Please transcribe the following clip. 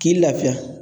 K'i lafiya